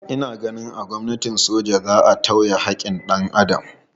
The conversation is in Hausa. Ina ganin a gwamnatin soja za a tauye haƙƙin dan Adam.